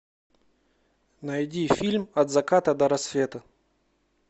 найди фильм от заката до рассвета